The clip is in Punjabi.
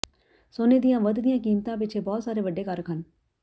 ਸੋਨੇ ਦੀਆਂ ਵਧਦੀਆਂ ਕੀਮਤਾਂ ਪਿੱਛੇ ਬਹੁਤ ਸਾਰੇ ਵੱਡੇ ਕਾਰਕ ਹਨ